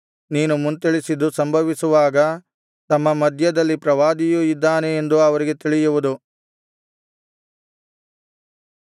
ನೀನು ಮುಂತಿಳಿಸಿದ್ದು ಸಂಭವಿಸುವಾಗ ತಮ್ಮ ಮಧ್ಯದಲ್ಲಿ ಪ್ರವಾದಿಯು ಇದ್ದಾನೆ ಎಂದು ಅವರಿಗೆ ತಿಳಿಯುವುದು